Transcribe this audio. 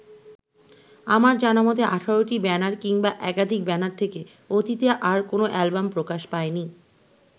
আমার জানামতে ১৮টি ব্যানার কিংবা একাধিক ব্যানার থেকে অতীতে আর কোনো অ্যালবাম প্রকাশ পায়নি।